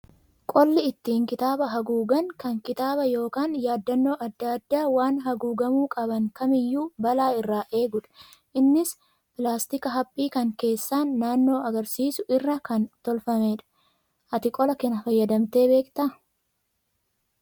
Qolli ittiin kitaaba haguugan kan kitaaba yookaan yaadannoo adda addaa waan haguugamuu qaban kamiyyuu balaa irraa eegudha. Innis pilaastika haphii kan keessaan naannoo agarsiisu irraa kan tolfameedha. Ati qola kana fayyadamtee beektaa?